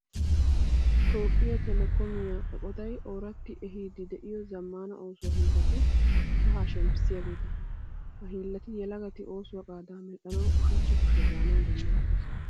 Toophphiya telekoomiya eqotay ooratti ehiiddi de'iyo zammaana oosuwa hiillati kahaa shemppissiyageeta. Ha hiillati yelagati oosuwa qaadaa medhdhanawu ushachcha kushe gaanawu danddayettees.